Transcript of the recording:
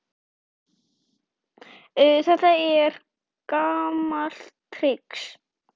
Þetta er gamalt trix.